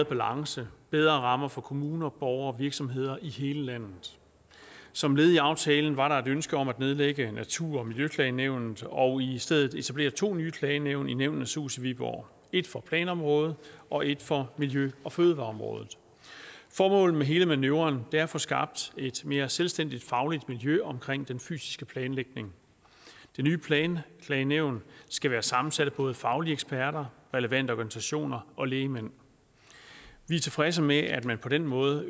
balance bedre rammer for kommuner borgere og virksomheder i hele landet som led i aftalen var der et ønske om at nedlægge natur og miljøklagenævnet og i stedet etablere to nye klagenævn i nævnenes hus i viborg et for planområdet og et for miljø og fødevareområdet formålet med hele manøvren er at få skabt et mere selvstændigt fagligt miljø omkring den fysiske planlægning det nye planklagenævn skal være sammensat af både faglige eksperter relevante organisationer og lægmænd vi er tilfredse med at man på den måde